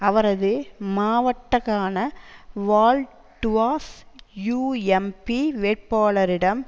அவரது மாவட்டகான வால் டுவாஸ் யுஎம்பி வேட்பாளரிடம்